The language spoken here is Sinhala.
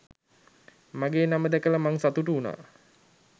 මගෙ නම දැකල මං සතුටු උනා